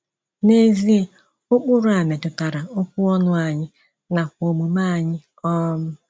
N’ezie, ụkpụrụ a metụtara okwu ọnụ anyị nakwa omume anyị. um